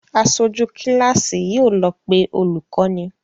Aṣojú kíláàsì yóò lọ pé olùkọ́ni